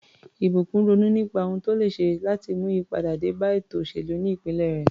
Ìbùkún ronú nípa ohun tó lè ṣe láti mú ìyípadà dé bá ètò òṣèlú ní ìpínlẹ̀ rẹ̀.